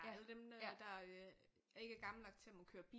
Alle dem der øh ikke er gamle nok til at må køre bil